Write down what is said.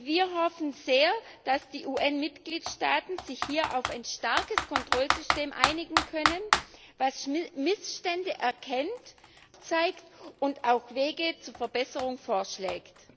Wir hoffen sehr, dass die UN Mitgliedstaaten sich hier auf ein starkes Kontrollsystem einigen können, das Missstände erkennt, aufzeigt und auch Wege zur Verbesserung vorschlägt.